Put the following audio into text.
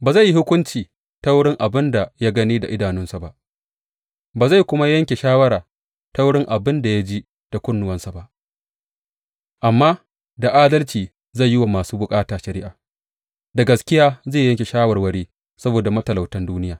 Ba zai yi hukunci ta wurin abin da ya gani da idanunsa ba, ba zai kuwa yanke shawara ta wurin abin da ya ji da kunnuwansa ba; amma da adalci zai yi wa masu bukata shari’a, da gaskiya zai yanke shawarwari saboda matalautan duniya.